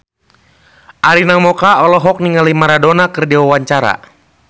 Arina Mocca olohok ningali Maradona keur diwawancara